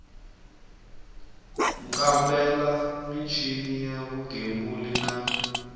kambela michini ya vugembuli na